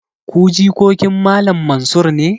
Ku jikokin Malam Mansur ne?